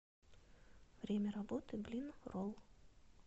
время работы блинролл